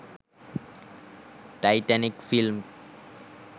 titanic film